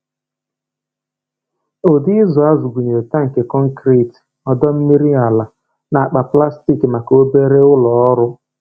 Ụdị ịzụ azụ gụnyere tankị konkrit, ọdọ mmiri ala, na akpa plastik maka obere ụlọ ọrụ.